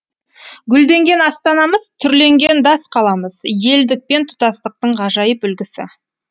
гүлденген астанамыз түрленген дас қаламыз елдік пен тұтастықтың ғажайып үлгісі